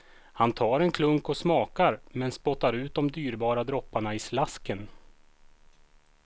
Han tar en klunk och smakar, men spottar ut de dyrbara dropparna i slasken.